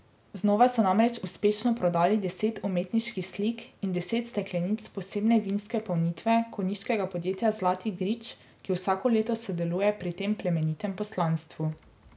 Znova so namreč uspešno prodali deset umetniških slik in deset steklenic posebne vinske polnitve konjiškega podjetja Zlati grič, ki vsako leto sodeluje pri tem plemenitem poslanstvu.